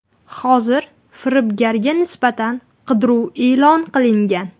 Hozir firibgarga nisbatan qidiruv e’lon qilingan.